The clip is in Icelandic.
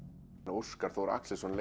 Óskar Þór Axelsson